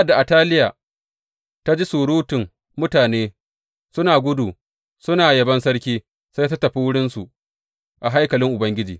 Sa’ad da Ataliya ta ji surutun mutane suna gudu suna yabon sarki, sai ta tafi wurinsu a haikalin Ubangiji.